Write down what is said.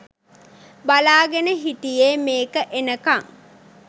බලාගෙන හිටියේ මේක එනකං.